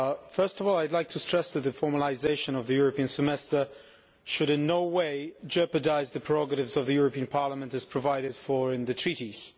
Firstly, I would like to stress that the formalisation of the European Semester should in no way jeopardise the prerogatives of the European Parliament as provided for in the Treaties.